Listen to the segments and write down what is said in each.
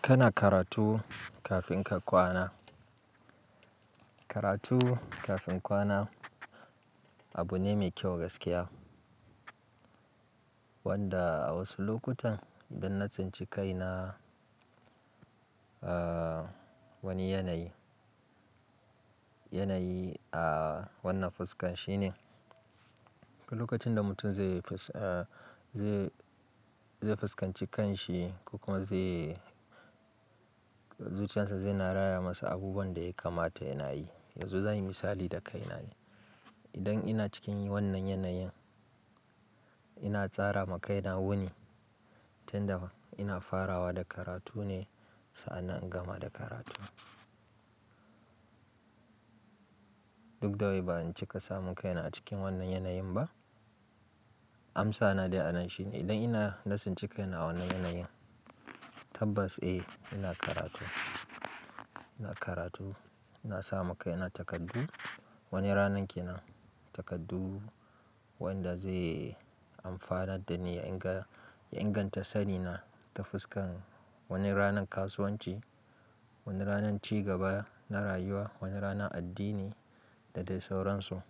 Kana karatu kafin ka kwana. Karatu kafin kwana abu ne mai kyau gaskiya. Wanda a wasu lokutan idan na tsinci kaina a wani yanayi, yanayi a wannan fuskan shine. Lokacin da mutum zai, zai fuskanci kanshi ko kuma zai zuciyarsa zai na raya masa abubuwan da ya kamata yayi. Yanzu za mu yi misali da kaina. Idan ina cikin wannan yanayin ina tsara ma kaina wuni tun da ina farawa da karatu ne sa'nan in gama da karatu. Duk da wai ba in cika samu kaina a cikin wannan yanayin ba. Amsa na dai a nan shine idan ina lasin ci kaina wannan yanayin tabbas eh ina karatu. Ina karatu, na sa ma kaina takardu wani ranar ke nan takardu wanda zai amfanar da ni ya inga, ya inganta sani na ta fuskan wani ranan kasuwanci, wani ranan ci gaba na rayuwa, wani ranan addini da dai sauransu.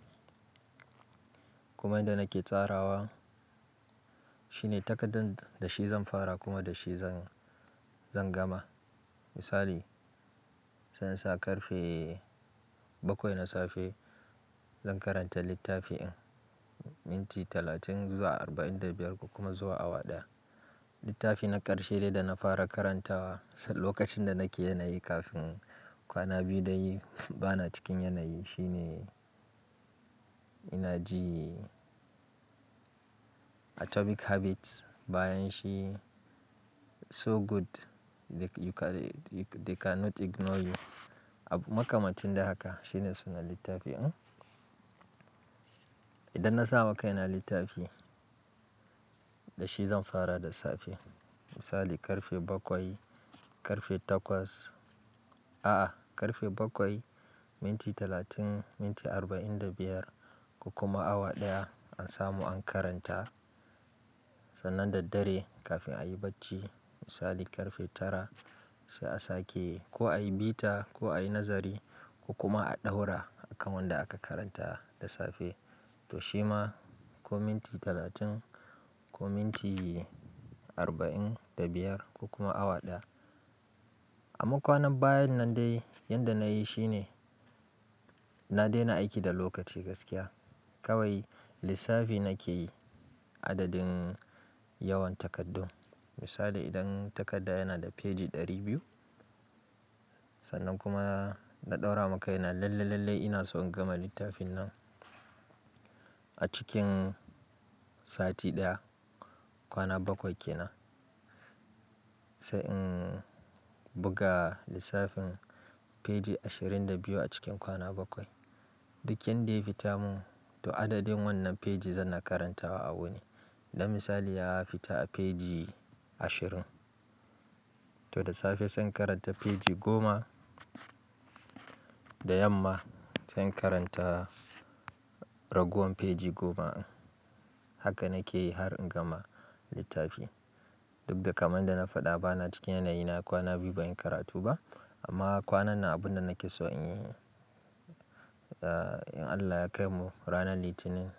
Kuma inda nake tsarawa shine takardan da shi zan fara kuma da shi zan, zan gama. Misali sai in sa karfe bakwai na safe zan karanta littafin minti talatin zuwa arba'in da biyar ko kuma zuwa awa ɗaya. Littafi na ƙarshe dai da na fara karantawa lokacin da nake yanayi kafin kwana biyu dai ba na cikin yanayi shine ina ji "Atomic Habits" bayan shi "So Good They Cannot Ignore You." Makamancin dai haka shine sunan littafin. Idan na sa ma kaina littafi da shi zan fara da safe. Misali karfe bakwai, karfe takwas a'a karfe bakwai minti talatin, minti arba'in da biyar ko kuma awa ɗaya an samu an karanta. Sannan daddare kafin a yi bacci misali karfe tara sai a sake ko a yi bita ko a yi nazari ko kuma a ɗaura akan wanda aka karanta da safe. To shi ma ko minti talatin ko minti arba'in da biyar ko kuma awa ɗaya. A makwanan bayan nan dai yanda na yi shine na daina aiki da lokaci gaskiya. Kawai lissafi nake yi adadin yawan takardun. Misali idan takarda yana da feji ɗari biyu sannan kuma na ɗaura ma kaina lalle, lalle ina so in gama littafin nan a cikin sati ɗaya, kwana bakwai ke nan. Sai in buga lissafin feji ashirin da biyu a cikin kwana bakwai. Duk yanda ya fita mun to adadin wannan feji zan na karantawa a wuni. Dan misali ya fita a feji ashirin to da safe zan karanta feji goma, da yamma zan karanta ragowar feji goma. Haka nake yi har in gama littafi. Duk da kamar da na faɗa ba na cikin yanayi na kwana biyu ba in karatu ba amma kwanan na abun da nake so in yi. In Allah ya kaimu ranar Litinin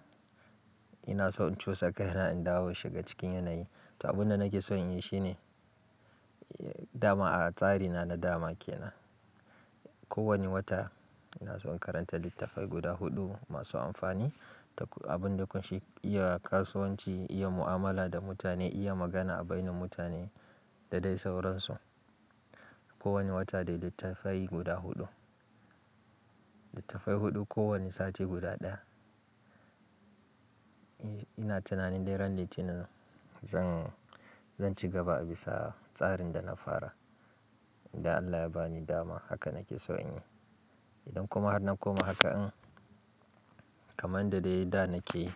ina so in cusa kaina in dawo shiga cikin yanayi. To abun da nake so in yi shine dama a tsarina na dama ke nan. Ko wani wata ina so in karanta littattafai guda huɗu masu amfani da abun da kunshi iya kasuwanci, iya mu'amala da mutane, iya magana a baini mutane da dai sauransu. Ko wani wata dai littattafai guda huɗu. Littattafai huɗu ko wani sati guda ɗaya. Eh ina tunanin dai ran Litinin zan, zan ci gaba a bisa tsarin da na fara. Idan Allah ya ba ni dama haka nake so in yi. Idan kuma har na koma haka in kamar dai yadda nake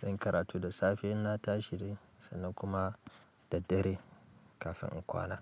zan karatu da safe ina tashiri sannan kuma daddare kafin in kwana.